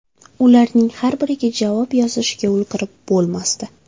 Ularning har biriga javob yozishga ulgurib bo‘lmasdi.